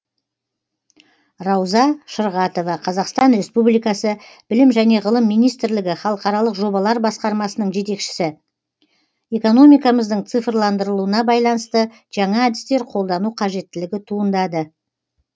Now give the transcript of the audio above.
рауза шырғатова қазақстан республикасы білім және ғылым министрлігі халықаралық жобалар басқармасының жетекшісі экономикамыздың цифрландырылуына байланысты жаңа әдістер қолдану қажеттілігі туындады